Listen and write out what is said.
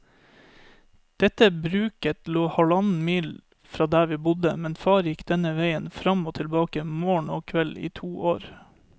Dette bruket lå halvannen mil fra der vi bodde, men far gikk denne veien fram og tilbake morgen og kveld i to år.